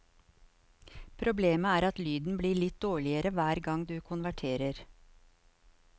Problemet er at lyden blir litt dårligere hver gang du konverterer.